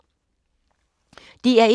DR1